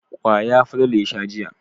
Kwaya Falalu ya sha jiya.